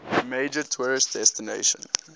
major tourist destination